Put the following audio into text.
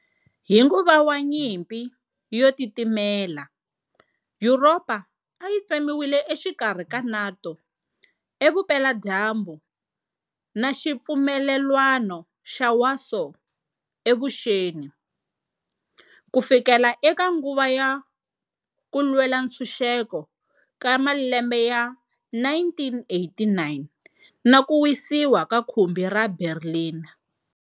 Hi nguva wa Nyimpi yo titimela, Yuropa ayi tsemiwe exikarhi ka NATO evupela dyambu na Xipfumelelwano xa Warsaw evuxeni, kufikela eka nguva ya Kulwela Ntshuxeko ka malembe ya 1989 na Kuwisiwa ka khumbi ra Berlin.